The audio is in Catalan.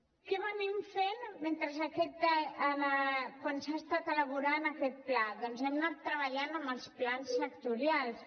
què hem estat fent quan s’ha estat elaborant aquest pla doncs hem anat treballant amb els plans sectorials